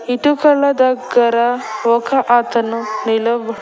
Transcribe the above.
ఇటుకల దగ్గర ఒక అతను నిలబడి.